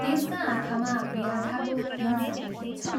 त्यसका आँखामा व्याधाको हिंसा देखिन्छ।